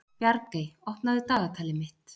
Bjargey, opnaðu dagatalið mitt.